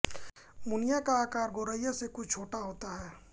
मुनिया का आकार गौरैया से कुछ छोटा होता है